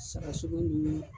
Sagasogo ni